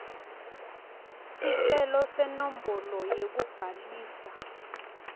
sicelo senombolo yekubhalisa